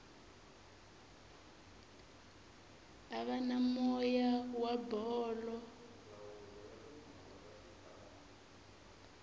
ava na moya wa bolo